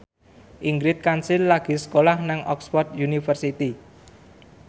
Ingrid Kansil lagi sekolah nang Oxford university